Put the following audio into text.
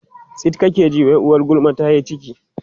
tsit kake ji wai uwar gulma tayi ciki